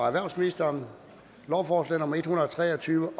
erhvervsministeren lovforslag nummer l en hundrede og tre og tyve